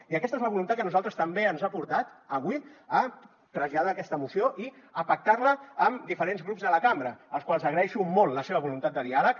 i aquesta és la voluntat que a nosaltres també ens ha portat avui a traslladar aquesta moció i a pactar la amb diferents grups de la cambra als quals agraeixo molt la seva voluntat de diàleg